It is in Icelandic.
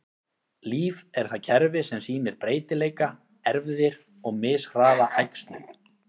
Líf er það kerfi sem sýnir breytileika, erfðir, og mishraða æxlun.